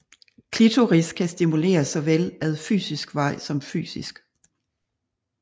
Klitoris kan stimuleres såvel ad psykisk vej som fysisk